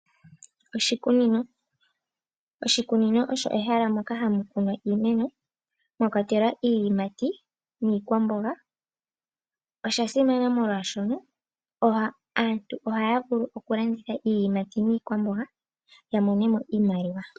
Oshikuinino, oshikunino osho ehala moka hamu kunwa iimeno mwakwatelwa iiyimati niikwamboga. Osha simana molwashono aantu ohaya vulu okulanditha iiyimati niikwamboga yamonemo iikwamboga.